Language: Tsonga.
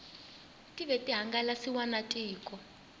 tive ti hangalasiwa na tiko